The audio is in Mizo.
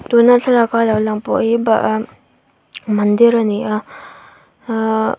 tuna thlalak a lo lang pawh hi bah ah mandir ani a ahhh.